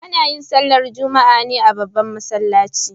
Ana yin sallar Juma'a ne a babban masallaci.